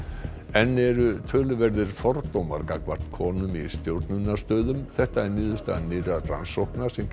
enn eru töluverðir fordómar gagnvart konum í stjórnunarstöðum þetta er niðurstaða nýrrar rannsóknar sem